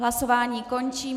Hlasování končím.